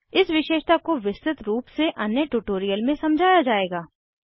इस विशेषता को विस्तृत रूप से अन्य ट्यूटोरियल में समझाया जायेगा